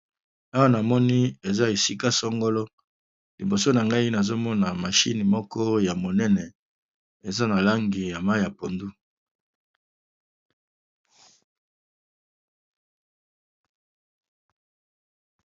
Awa na moni eza esika sangolo. Liboso na ngai nazo mona mashine moko ya monene. Eza na langi ya mai ya pondu.